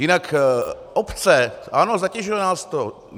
Jinak obce, ano, zatěžuje nás to.